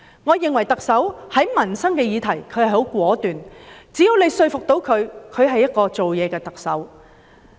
我認為特首在民生議題上很果斷，只要可以說服她，她是一個做事的特首。